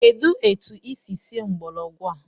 Kedụ etu i si sie mgbọrọgwụ a?